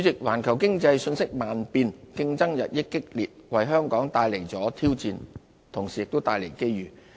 環球經濟瞬息萬變，競爭日益激烈，為香港帶來挑戰同時亦帶來機遇。